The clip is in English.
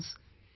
Friends,